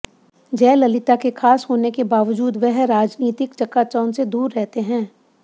जयललिता के खास होने के बावजूद वह राजनीतिक चकाचौंध से दूर रहते हैं